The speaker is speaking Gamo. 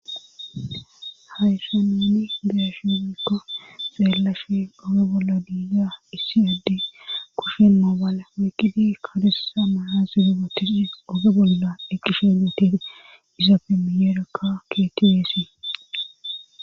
Hayssameni geashizekko xeelashe oge bolla diiga issi addi kushen moobaala wakidi kadesa maha zelebateshe oge bolla eqqishe meetege izaapemiyeerekka keetiweesi